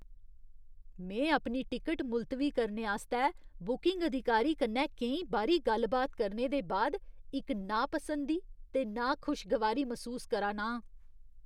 में अपनी टिकट मुलतवी करने आस्तै बुकिंग अधिकारी कन्नै केईं बारी गल्ल बात करने दे बाद इक नापसंदी ते नाखुशगवारी मसूस करा ना आं।